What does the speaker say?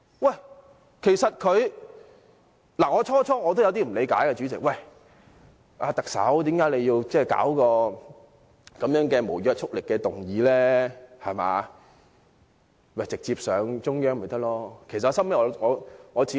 代理主席，我最初也有點不理解，不明白特首為何要提出這項無約束力的議案，直接提交中央便成了。